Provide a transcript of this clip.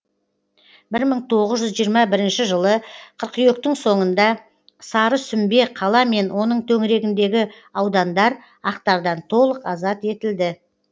бір мың тоғыз жүз жиырма бірінші жылы қыркүйектің соңында сарысүмбе қала мен оның төңірегіндегі аудандар ақтардан толық азат етілді